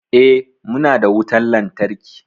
Eh, muna da wutan lantarki.